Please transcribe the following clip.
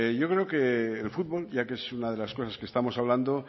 yo creo que el fútbol ya que es una de las cosas que estamos hablando